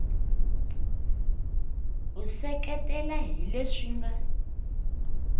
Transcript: u seketela hi leswi nga